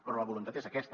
però la voluntat és aquesta